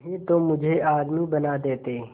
नहीं तो मुझे आदमी बना देते